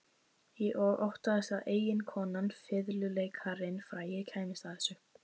Og óttaðist að eiginkonan, fiðluleikarinn frægi, kæmist að þessu.